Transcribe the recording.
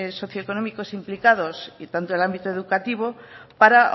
socioeconómicos implicados tanto en el ámbito educativo para